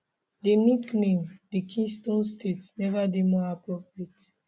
di nickname di keystone state neva dey more appropriate